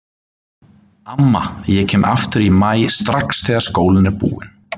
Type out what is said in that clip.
Amma ég kem aftur í maí strax þegar skólinn er búinn